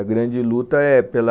A grande luta é pela